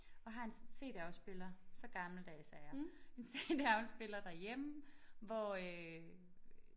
Og har en cd-afspiller så gammeldags er jeg en cd-afspiller derhjemme hvor øh